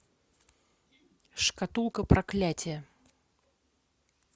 шкатулка проклятия